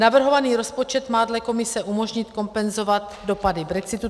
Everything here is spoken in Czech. Navrhovaný rozpočet má dle Komise umožnit kompenzovat dopady brexitu.